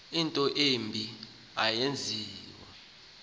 into embi eyaviwa